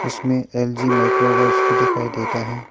इसमे L G microwaves भी दिखाई देता है।